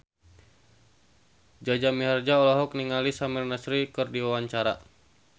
Jaja Mihardja olohok ningali Samir Nasri keur diwawancara